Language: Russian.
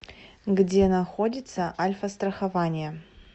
где находится альфастрахование